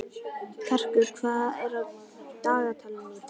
Karkur, hvað er á dagatalinu í dag?